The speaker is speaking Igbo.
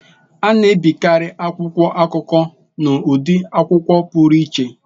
A na-ebikarị akwụkwọ akụkọ n'ụdị akwụkwọ pụrụ iche.